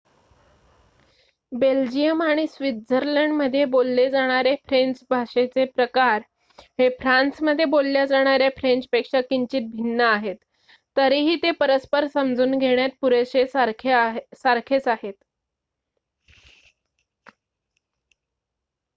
Belgium आणि स्वित्झर्लंडमध्ये बोलले जाणारे फ्रेंच भाषेचे प्रकार हे फ्रान्समध्ये बोलल्या जाणार्‍या फ्रेंचपेक्षा किंचित भिन्न आहेत तरीही ते परस्पर समजून घेण्यास पुरेशे सारखेच आहेत